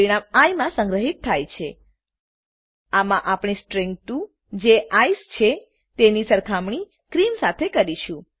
પરિણામ આઇ માં સંગ્રહીત થાય છે આમાં આપણે સ્ટ્રીંગ 2 જે ક્રીમ છે તેની સરખામણી ક્રીમ સાથે કરીશું